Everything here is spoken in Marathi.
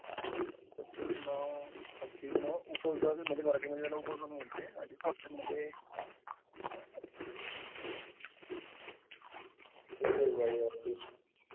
is not clear